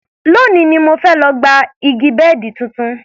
Lónìí ni mo fẹ́ lọ gba gba igi bẹ́ẹ̀dì tuntun